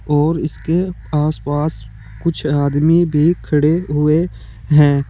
और इसके आसपास कुछ आदमी भी खड़े हुए हैं।